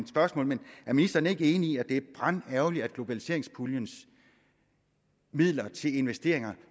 spørgsmål men er ministeren ikke enig i at det er brandærgerligt at globaliseringspuljens midler til investeringer